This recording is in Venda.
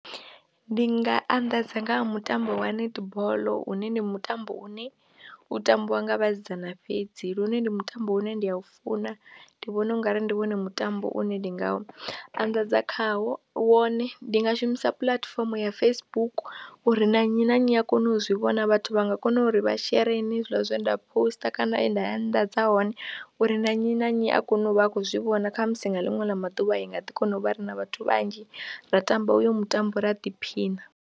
Ndi nga anḓadza nga ha mutambo wa netball une ndi mutambo une u tambiwa nga vhasidzana fhedzi lune ndi mutambo une ndi a u funa, ndi vhona u nga ri ndi wone mutambo une ndi nga anḓadza khawo wone ndi nga shumisa puḽatifomo ya Facebook uri na nnyi na nnyi a kone u zwi vhona vhathu vha nga kona uri vha shere hezwiḽa zwe nda phosiṱa kana he nda anḓadza hone uri na nnyi na nnyi a kone u vha a khou zwi vhona kha musi na ḽiṅwe ḽa maḓuvha i nga ḓi kona u vha re na vhathu vhanzhi ra tamba uyo mutambo ra ḓiphina.